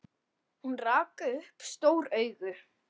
Hún rak upp stór augu.